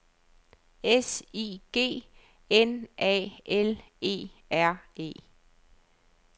S I G N A L E R E